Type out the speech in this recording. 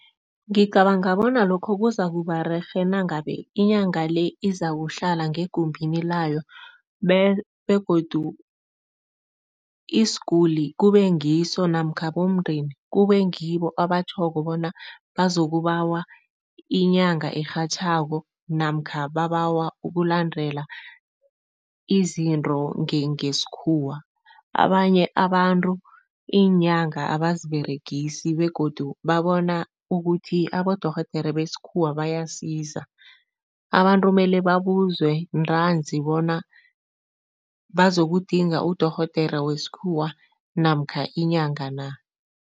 Ngicabanga bona lokho kuzakuba rerhe nangabe inyanga le izakuhlala ngegumbini layo begodu isiguli kube ngiso namkha bomndeni kube ngibo abatjhoko bona bazokubawa inyanga erhatjhako namkha babawa ukulandela izinto ngesikhuwa. Abanye abantu iinyanga abaziberegisi begodu babona ukuthi abodorhodere besikhuwa bayasiza, abantu mele babuzwe ntanzi bona bazokudinga udorhodere wesikhuwa namkha inyanga na.